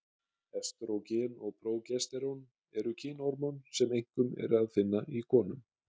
Estrógen og prógesterón eru kynhormón sem einkum er að finna í konum.